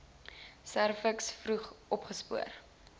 serviks vroeg opgespoor